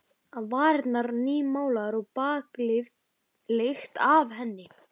Varirnar nýmálaðar og baðlykt af henni.